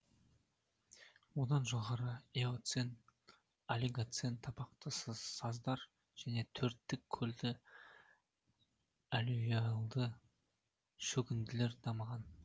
одан жоғары эоцен олигоцен табақты саздар және төрттік көлді аллювиальді шөгінділер дамыған